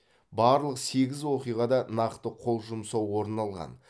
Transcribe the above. барлық сегіз оқиғада нақты қол жұмсау орын алған